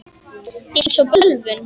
Eins og bölvun.